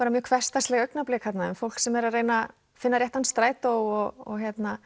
mjög hversdagsleg augnablik þarna um fólk sem er að reyna finna réttan strætó og